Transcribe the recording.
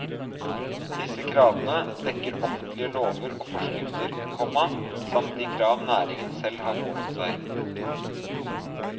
Disse kravene dekker offentlige lover og forskrifter, komma samt de krav næringen selv har pålagt seg. punktum